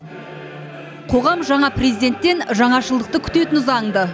қоғам жаңа президенттен жаңашылдықты күтетіні заңды